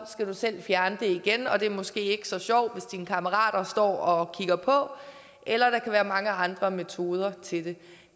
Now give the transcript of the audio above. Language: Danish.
skal du selv fjerne det igen og det er måske ikke så sjovt hvis dine kammerater står og kigger på eller der kan være mange andre metoder til det